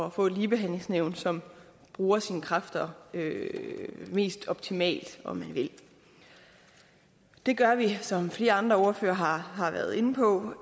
at få et ligebehandlingsnævn som bruger sine kræfter mest optimalt om man vil det gør vi som flere andre ordførere har har været inde på